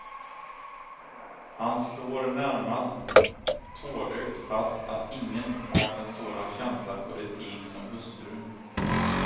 Han slår, närmast tårögt, fast att ingen har en sådan känsla för etik som hustrun.